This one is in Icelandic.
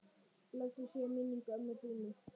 Blessuð sé minning ömmu Dúnu.